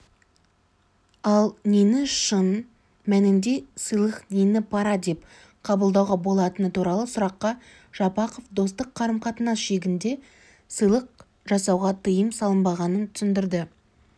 ал нені шын мәнінде сыйлық нені пара деп қабылдауға болатыны туралы сұраққа жапақов достық қарым-қатынас шегінде сыйлық жасауға тыйым салынбағанын түсіндірді